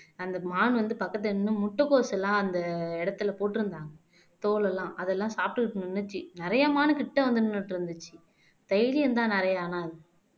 அந்த மான் வந்து பக்கத்துல நின்னு முட்டைகோஸ் எல்லாம் அந்த இடத்துல போட்டிருந்தாங்க தோலெல்லாம் அதெல்லாம் சாப்பிட்டுட்டு நின்னுச்சு நிறைய மான கிட்ட வந்து நின்னுட்டு இருந்துச்சு தைரியம்தான் நிறைய ஆனா